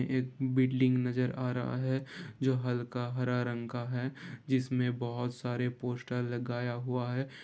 एक बिल्डिंग नजर आ रहा है जो हल्का हरा रंग का है जिसमें बहोत सारे पोस्टर लगाया हुआ है ।